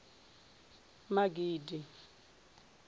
magidi